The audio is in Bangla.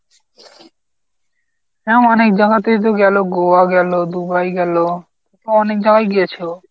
হ্যাঁ অনেক জাগাতেই তো গেল গোয়া গেল, দুবাই গেল ও অনেক জাগায় গিয়েছে ও।